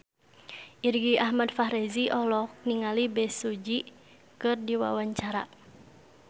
Irgi Ahmad Fahrezi olohok ningali Bae Su Ji keur diwawancara